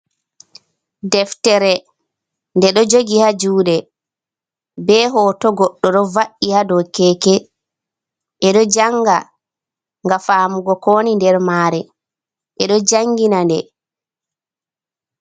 Deftere, nde ɗo jogi ha jude, be hoto, goɗɗo do va’i ha do keeke. e ɗo janga nga famugo kowoni nder mare, eɗo jangina nde.